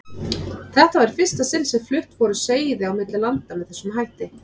Þetta var í fyrsta sinni sem flutt voru seiði á milli landa með þessum hætti.